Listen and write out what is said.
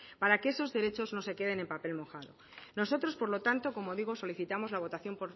para que esos derechos no se queden en papel mojado nosotros por lo tanto como digo solicitamos la votación